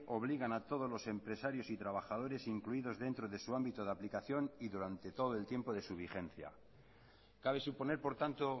obliga a todos los empresarios y trabajadores incluidos dentro de su ámbito de aplicación y durante todo el tiempo de su vigencia cabe suponer por tanto